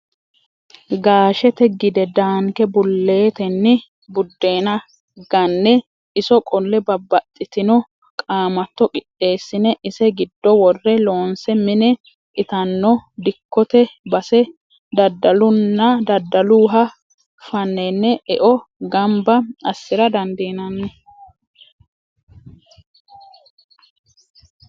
Gaashete gide daanke buletenni budenna gane iso qolle babbaxxitino qaamatto qixeessine ise giddo worre loonse mine itano dikkote base daddaluha fanene eo gamba assira dandiinanni.